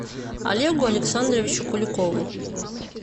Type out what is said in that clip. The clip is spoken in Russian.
олегу александровичу куликову